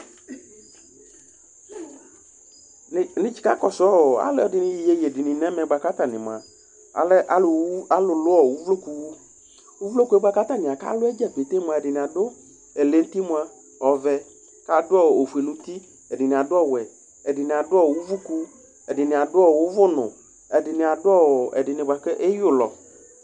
Alʋɛdìní alɛ alʋ lʋ uvlokuwu Ɛɖìní aɖu ɛlɛnuti ɔvɛ kʋ ɔfʋe ŋu uti Ɛɖìní aɖu ɔwɛ Ɛɖìní aɖu uvʋkʋ Ɛɖìní aɖu uvʋnu Ɛɖìní aɖu ɛɖìní bʋakʋ ɛɣa ulɔ